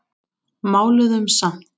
Máluðum samt.